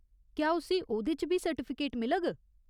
क्या उस्सी ओह्‌दे च बी सर्टिफिकेट मिलग ?